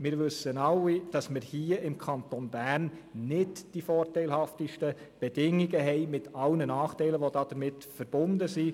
Wir wissen alle, dass wir hier im Kanton Bern nicht die vorteilhaftesten Bedingungen haben – mit all den Nachteilen, die damit verbunden sind.